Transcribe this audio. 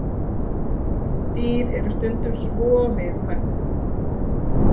Dýr eru stundum svo viðkvæm.